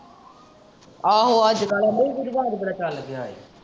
ਆਹੋ ਅੱਜ ਕਲ ਕੇਂਦੇ ਇਹ ਵੀ ਰਿਵਾਜ ਬੜਾ ਚਾਲ ਗਯਾ ਏ।